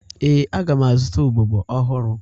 Ee, aga m azụta ugbogbe ọhụrụ